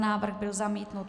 Návrh byl zamítnut.